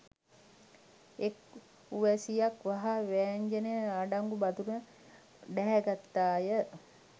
එක් උවැසියක් වහා වෑංජනය අඩංගු බඳුන ඩැහැගත්තාය